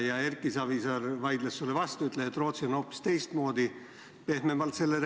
Ja Erki Savisaar vaidles sulle vastu, ütles, et Rootsi on selle reguleerinud hoopis teistmoodi, pehmemalt.